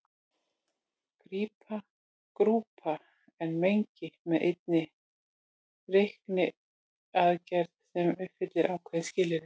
Grúpa er mengi með einni reikniaðgerð sem uppfyllir ákveðin skilyrði.